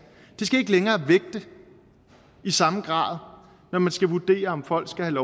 det skal ikke længere vægte i samme grad når man skal vurdere om folk skal have